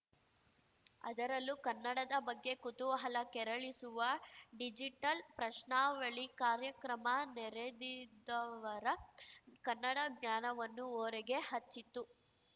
ಅದರಲ್ಲೂ ಕನ್ನಡದ ಬಗ್ಗೆ ಕುತೂಹಲ ಕೆರಳಿಸುವ ಡಿಜಿಟಲ್ ಪ್ರಶ್ನಾವಳಿ ಕಾರ್ಯಕ್ರಮ ನೆರೆದಿದ್ದವರ ಕನ್ನಡ ಜ್ಞಾನವನ್ನು ಓರೆಗೆ ಹಚ್ಚಿತ್ತು